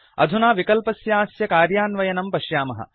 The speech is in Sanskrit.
अधुना विकल्पस्यास्य कार्यान्वयनं पश्यामः